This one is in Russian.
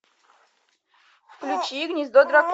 включи гнездо дракона